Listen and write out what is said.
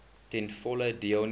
ten volle deelneem